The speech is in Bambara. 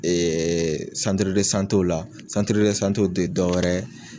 o la tɛ dɔ wɛrɛ